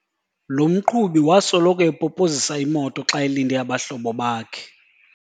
Lo mqhubi wasoloko epopozisa imoto xa elinde abahlobo bakhe.